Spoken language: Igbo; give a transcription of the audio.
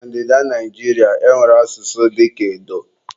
Na Ndida Naijiria, e nwere asụsụ dịka edo.